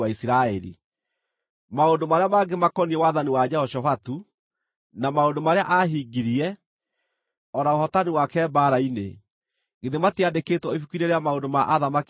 Maũndũ marĩa mangĩ makoniĩ wathani wa Jehoshafatu, na maũndũ marĩa aahingirie, o na ũhootani wake mbaara-inĩ, githĩ matiandĩkĩtwo ibuku-inĩ rĩa maũndũ ma athamaki a Juda?